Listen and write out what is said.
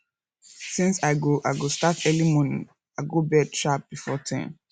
since i go go start early tomorrow i go bed sharp before ten